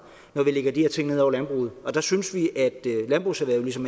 når vi lægger de her ting ned over landbruget der synes vi at landbrugserhvervet ligesom